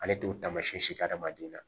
Ale t'o taamasiyɛn hadamaden na